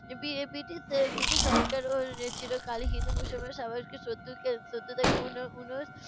B~ British British সরকার চিরকালই হিন্দু মুসলমান স্বাভাবিক শত্রুকে শত্রুতাকে উন~ উন~